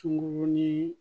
Tungo ni